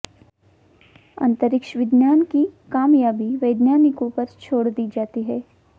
अंतरिक्ष विज्ञान की कामयाबी वैज्ञानिकों पर छोड़ दी जाती है